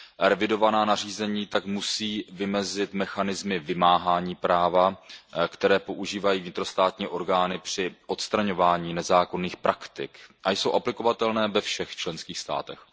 Revidovaná nařízení tak musí vymezit mechanismy vymáhání práva, které používají vnitrostátní orgány při odstraňování nezákonných praktik a jsou aplikovatelné ve všech členských státech.